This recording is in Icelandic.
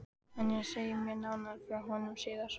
En ég segi þér nánar frá honum síðar.